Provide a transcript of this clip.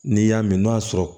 N'i y'a mɛn n'o y'a sɔrɔ